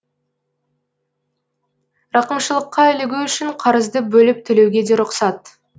рақымшылыққа ілігу үшін қарызды бөліп төлеуге де рұқсат